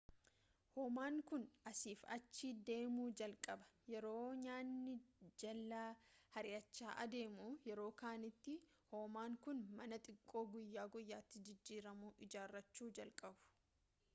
homaan kun asiif achi deemu jalqaba yeroo nyaanni jalaa hir’achaa adeemu.yeroo kanattii homaan kun mana xiqqoo guyyaa guyyaatti jijjiiramu ijaarrachuu jalqabu